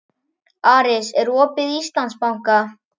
Aris, er opið í Íslandsbanka?